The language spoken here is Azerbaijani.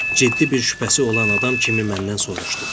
ciddi bir şübhəsi olan adam kimi məndən soruşdu.